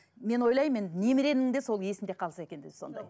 мен ойлаймын енді немеремнің де сол есінде қалса екен деп сондай